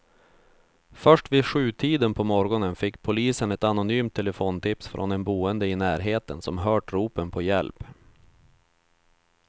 Först vid sjutiden på morgonen fick polisen ett anonymt telefontips från en boende i närheten som hört ropen på hjälp.